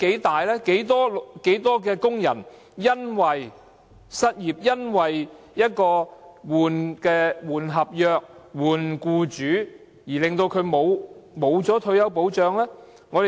多少工人因為失業、更換合約或更換僱主而失去退休保障？